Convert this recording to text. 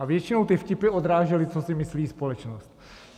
A většinou ty vtipy odrážely, co si myslí společnost.